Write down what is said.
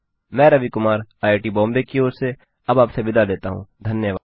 मैं रवि कुमार आईआईटीबॉम्बे की ओर से अब आपसे विदा लेता हूँ धन्यवाद